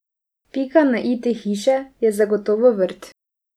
Pika na i te hiše je zagotovo vrt.